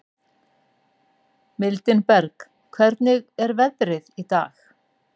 Mildinberg, hvernig er veðrið í dag?